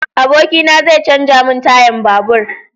Abokina zai canja mun tayan babur